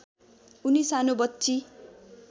उनी सानो बच्ची